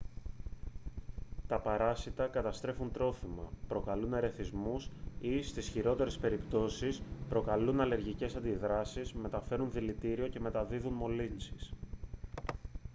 τα παράσιτα καταστρέφουν τρόφιμα προκαλούν ερεθισμούς ή στις χειρότερες περιπτώσεις προκαλούν αλλεργικές αντιδράσεις μεταφέρουν δηλητήριο και μεταδίδουν μολύνσεις